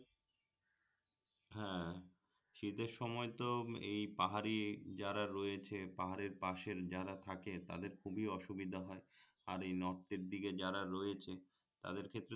হ্যাঁ শীতের সময় তো এই পাহাড়ি যারা রয়েছে পাহাড়ের পাশের যারা থাকে তাদের খুবই অসুবিধা হয় আর এই নর্থের দিকে যারা রয়েছে তাদের ক্ষেত্রে